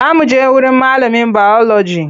Za muje wurin malamin biology.